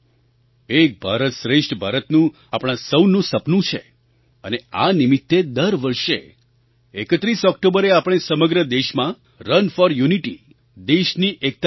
એક ભારત શ્રેષ્ઠ ભારતનું આપણું સહુનું સપનું છે અને આ નિમિત્તે દર વર્ષે 31 ઑક્ટોબરે આપણે સમગ્ર દેશમાં રન ફોર યુનિટી દેશની એકતા માટે દોડ